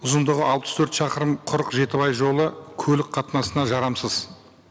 ұзындығы алпыс төрт шақырым құрық жетібай жолы көлік қатынасына жарамсыз